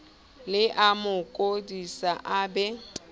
le amo kodisa a be